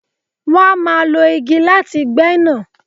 Wọ́n a má lo igi láti gbé nà.